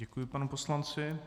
Děkuji panu poslanci.